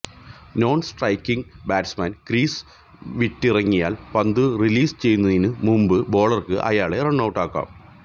non striking batsman crease വിട്ടിറങ്ങിയാൽ പന്തു release ചെയ്യുന്നതിനു മുൻപു ബോളർക്ക് അയാളെ റണ്ണൌട്ടാക്കാം